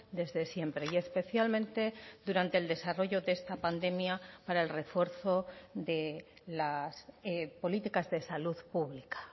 desde siempre y especialmente durante el desarrollo de esta pandemia para el refuerzo de las políticas de salud pública